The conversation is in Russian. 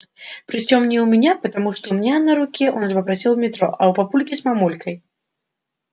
причём не у меня потому что у меня на руке он уже просил в метро а у папульки с мамулькой